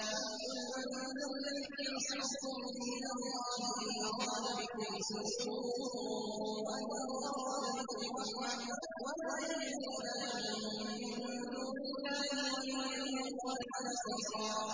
قُلْ مَن ذَا الَّذِي يَعْصِمُكُم مِّنَ اللَّهِ إِنْ أَرَادَ بِكُمْ سُوءًا أَوْ أَرَادَ بِكُمْ رَحْمَةً ۚ وَلَا يَجِدُونَ لَهُم مِّن دُونِ اللَّهِ وَلِيًّا وَلَا نَصِيرًا